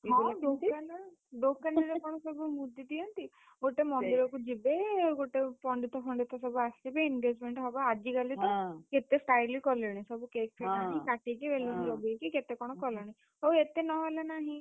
ଦୋକାନରେ, ଦୋକାନରେ କଣ ସବୁ ମୁଦି ଦିଅନ୍ତି? ଗୋଟେ ମନ୍ଦିରକୁ ଯିବେ, ଗୋଟେ ପଣ୍ଡିତ ଫଣ୍ଡିତ ସବୁ ଆସିବେ engagement ହବ ଆଜିକାଲି ତ କେତେ style କଲେଣି। ସବୁ cake ଫେକ୍ ଆଣି କାଟିକି ଲଗେଇକି କେତେ କଣ କଲେଣି। ହଉ ଏତେ ନହେଲେ ନାହିଁ।